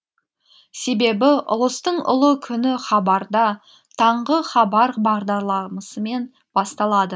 себебі ұлыстың ұлы күні хабарда таңғы хабар бағдарламасымен басталады